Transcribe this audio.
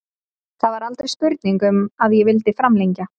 Það var aldrei spurning um að ég vildi framlengja.